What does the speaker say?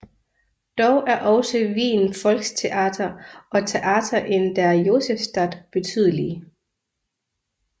Dog er også Wien Volkstheater og Theater in der Josefstadt betydelige